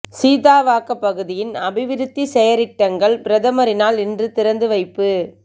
சீதாவாக்க பகுதியின் அபிவிருத்தி செயற்றிட்டங்கள் பிரதமரினால் இன்று திறந்து வைப்பு